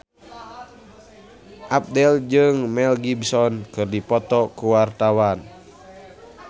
Abdel jeung Mel Gibson keur dipoto ku wartawan